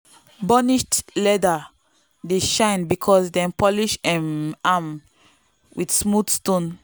burnished leather dey shine because dem polish um am with smooth stone.